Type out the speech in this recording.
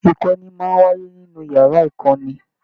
Ìkọ́ni máa n wáyé nínú yàrá ìkọ́ni.